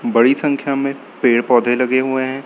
बड़ी संख्या में पेड़ पौधे लगे हुए हैं।